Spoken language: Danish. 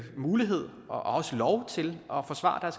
mulighed og også lov til at forsvare